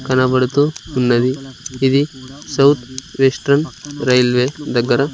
కనబడుతూ ఉన్నది ఇది సౌత్ వెస్టర్న్ రైల్వే దగ్గర.